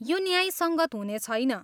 यो न्यायसङ्गत हुनेछैन।